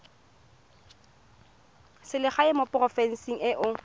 selegae mo porofenseng e o